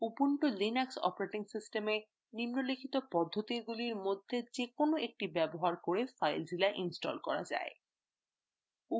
ubuntu linux operating সিস্টেমে নিম্নলিখিত পদ্ধতিগুলির মধ্যে যেকোনো একটি ব্যবহার করে filezilla ইনস্টল করা যায়